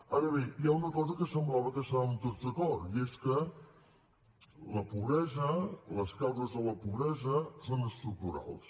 ara bé hi ha una cosa que semblava que hi estàvem tots d’acord i és que la pobresa les causes de la pobresa són estructurals